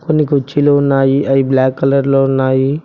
కొన్ని కుర్చీలు ఉన్నాయి అవి బ్లాక్ కలర్ లో ఉన్నాయి.